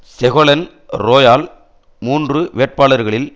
Ségolène Royal மூன்று வேட்பாளர்களில்